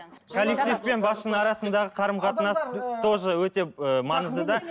коллектив пен басшының арасындағы қарым қатынас тоже өте ы маңызды да